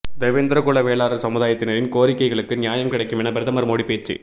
தேவேந்திரகுல வேளாளர் சமுதாயத்தினரின் கோரிக்கைகளுக்கு நியாயம் கிடைக்கும் என பிரதமர் மோடி பேச்சு